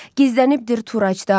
Gizlənibdir turaçdar.